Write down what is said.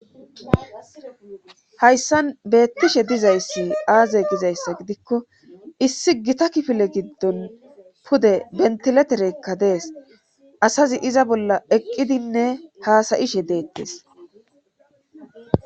Hayssan beettishe dizayssi aaze gizayssa gidikko issi gita kifile giddon pude bentileterekka dees asazi iza bolla eqqidinne haasayishe deettes.